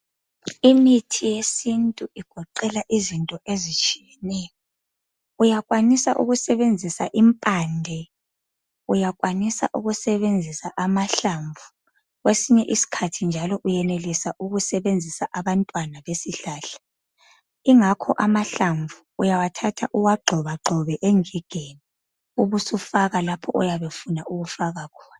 Imithi yesintu igoqela izinto ezitshiyeneyo. Uyakwanisa ukusebenzisa impande. Uyakwanisa ukusebenzisa amahlamvu. Kwesinye isikhathi njalo uyenelisa ukusebenzisa abantwana besihlahla. Ingakho amahlamvu uyawathatha uwagxobagxobe engigeni, ubusufaka lapho oyabe ufuna ukufaka khona.